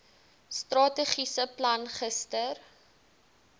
strategiese plan gister